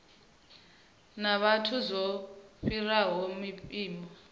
na vhathu zwo fhiraho mpimo